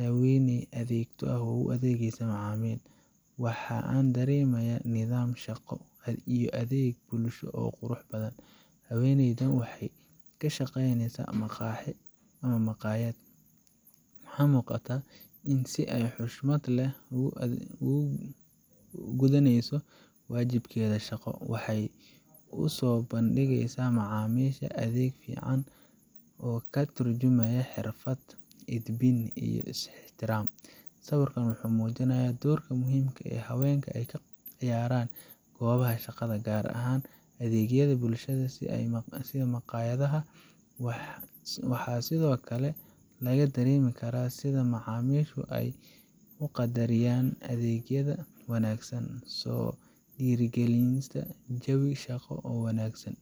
Haweeney adeegto ah oo u adeegaysa macaamiil, waxa aan dareemayaa nidaam shaqo iyo adeeg bulsho oo qurux badan. Haweeneydan waxay ka shaqaynaysaa maqaaxi ama maqaayad, waxaana muuqata in ay si xushmad leh u gudaneyso waajibaadkeeda shaqo. Waxay u soo bandhigeysaa macaamiisha adeeg fiican oo ka tarjumaya xirfad, edbin, iyo is-ixtiraam. Sawirkan wuxuu muujinayaa doorka muhiimka ah ee haweenka ay ka ciyaarayaan goobaha shaqada, gaar ahaan adeegyada bulshada sida maqaayadaha. Waxaa sidoo kale laga dareemi karaa sida macaamiishu ay u qadarinayaan adeegyada wanaagsan, taasoo dhiirrigelinaysa jawi shaqo oo wanaagsan.